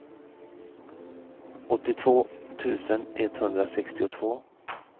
åttiotvå tusen etthundrasextiotvå